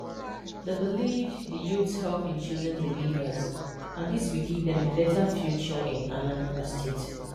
They believed that the youths help in choosing the leaders, and this will give them a better future in Anambra State